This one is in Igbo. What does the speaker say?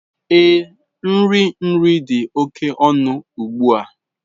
Ee, nri nri dị oke ọnụ ugbu a.